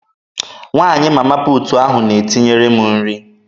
Nwaanyị Mama puutu ahụ na-etinyere m nri.